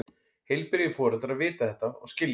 Heilbrigðir foreldrar vita þetta og skilja.